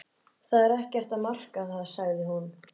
Það er ekkert að marka það sagði hún.